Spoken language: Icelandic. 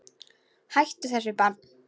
Hættu þessu barn!